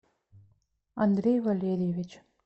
андрей валерьевич